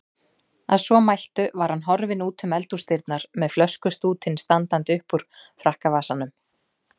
Að svo mæltu var hann horfinn útum eldhúsdyrnar með flöskustútinn standandi uppúr frakkavasanum.